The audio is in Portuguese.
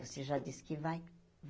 Você já disse que vai.